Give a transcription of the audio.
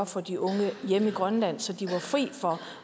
for de unge hjemme i grønland så de var fri for